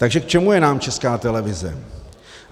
Takže k čemu je nám Česká televize?